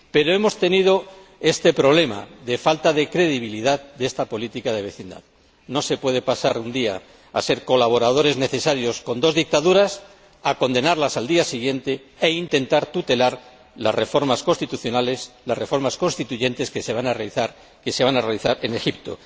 Pero hemos tenido este problema de falta de credibilidad de esta política de vecindad. No se puede pasar un día de ser colaboradores necesarios con dos dictaduras a condenarlas al día siguiente e intentar tutelar las reformas constitucionales, las reformas constituyentes que se van a realizar en Egipto.